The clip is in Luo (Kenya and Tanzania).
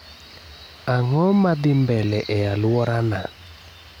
Ang'o madhii mbele e aluorana?